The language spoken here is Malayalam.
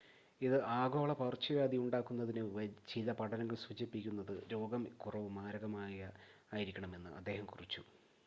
ഇത് ഒരു ആഗോള പകർച്ചവ്യാധി ഉണ്ടാക്കുന്നതിനുമുമ്പ് ചില പഠനങ്ങൾ സൂചിപ്പിക്കുന്നത് രോഗം കുറവ് മാരകമായ ആയിരിക്കണം എന്ന് അദ്ദേഹം കുറിച്ചു